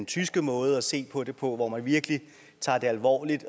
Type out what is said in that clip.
tyske måde at se på det på hvor man virkelig tager det alvorligt